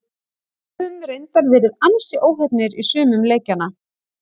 Höfum reyndar verið ansi óheppnir í sumum leikjanna.